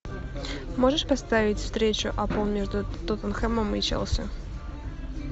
можешь поставить встречу апл между тоттенхэмом и челси